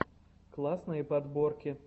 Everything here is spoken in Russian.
классные подборки